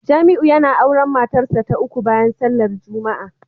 Jamiu yana auren matarsa ​​ta uku bayan sallar Juma'a